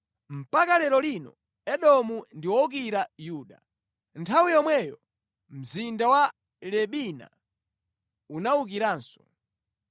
Mpaka lero lino Edomu ndi wowukira Yuda. Nthawi yomweyo mzinda wa Libina unawukiranso.